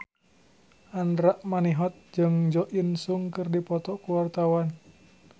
Andra Manihot jeung Jo In Sung keur dipoto ku wartawan